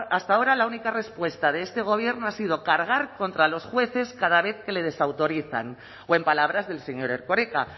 hasta ahora la única respuesta de este gobierno ha sido cargar contra los jueces cada vez que le desautorizan o en palabras del señor erkoreka